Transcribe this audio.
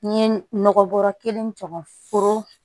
N ye nɔgɔbɔ kelen jɔ foro la